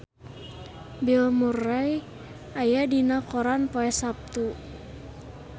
Bill Murray aya dina koran poe Saptu